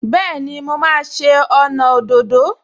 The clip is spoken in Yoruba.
Bẹ́ẹ̀ni, mo máa ṣe ọnà òdòdó